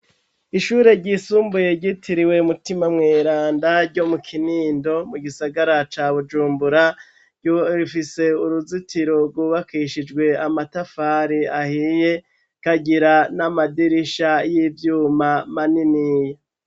Ishure ryisumbuye ryitiriwe mutima mweranda ryo mu Kinindo mu gisagara ca Bujumbura rifise uruzitiro rwubakishijwe amatafari ahiye ikagira n'amadirisha y'ivyuma manini.